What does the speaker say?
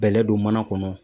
Bɛlɛ don mana kɔnɔ